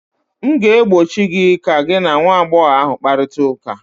m ga-egbochi gị ka gị na nwa agbọghọ ahụ kparịta ụka!